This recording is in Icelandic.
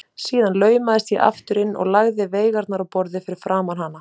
Síðan laumaðist ég aftur inn og lagði veigarnar á borðið fyrir framan hana.